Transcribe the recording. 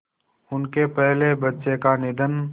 उनके पहले बच्चे का निधन